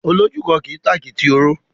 Olójúkan kì í tàkìtì òró.